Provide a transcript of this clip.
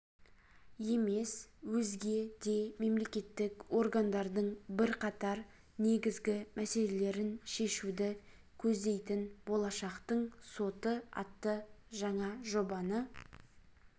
емес өзге де мемлекеттік органдардың бірқатар негізгі мәселелерін шешуді көздейтін болашақтың соты атты жаңа жобаны